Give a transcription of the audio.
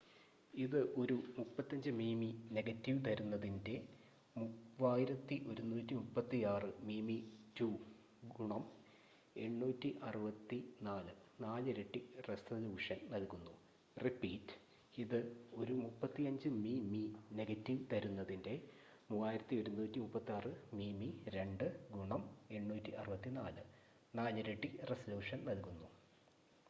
ഇത് ഒരു 35 മിമി നെഗറ്റീവ് തരുന്നതിന്റെ 3136 മിമി2 ഗുണം 864 നാലിരട്ടി റെസലൂഷൻ നൽകുന്നു